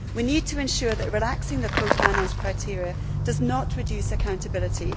We need to ensure that relaxing the cofinance criteria does not reduce accountability.